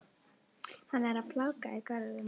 Hann er plága í görðum.